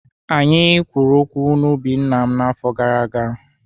Anyị kwuru okwu na ubi nna m n'afọ gara aga.